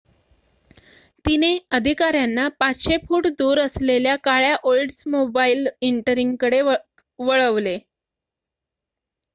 तिने अधिकाऱ्यांना 500 फुट दूर असलेल्या काळ्या ओल्ड्समोबाईल इंटरिग कडे वळवले